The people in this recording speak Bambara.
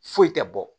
Foyi tɛ bɔ